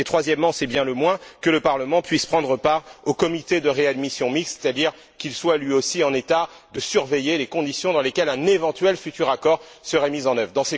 Troisièmement c'est bien le moins nous demandons que le Parlement puisse prendre part au comité de réadmission mixte, c'est à dire qu'il soit, lui aussi, en état de surveiller les conditions dans lesquelles un éventuel futur accord serait mis en œuvre.